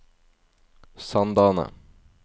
Sandane